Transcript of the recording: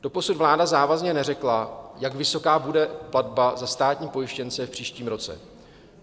Doposud vláda závazně neřekla, jak vysoká bude platba za státní pojištěnce v příštím roce.